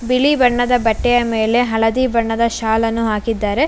ಬಿಳಿ ಬಣ್ಣದ ಬಟ್ಟೆಯ ಮೇಲೆ ಹಳದಿ ಬಣ್ಣದ ಶಾಲನ್ನು ಹಾಕಿದ್ದಾರೆ.